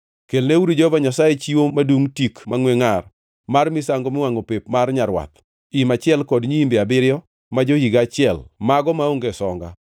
Kelneuru Jehova Nyasaye chiwo madungʼ tik mangʼwe ngʼar mar misango miwangʼo pep mar nyarwath, im achiel kod nyiimbe abiriyo ma jo-higa achiel, mago maonge songa.